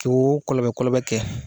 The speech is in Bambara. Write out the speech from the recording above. k'oo kɔlɔbɛ kɔlɔbɛ kɛ